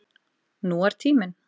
Nú er tíminn.